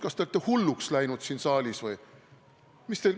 Kas te olete hulluks läinud siin saalis või?